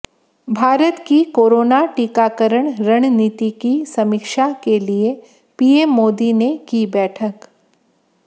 भारत की कोरोना टीकाकरण रणनीति की समीक्षा के लिए पीएम मोदी ने की बैठक